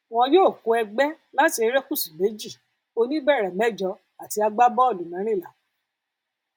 wọn yóò kó ẹgbẹ láti erékùṣù méjì oníbẹrẹ méjọọ àti agbábọọlù mẹrìnlá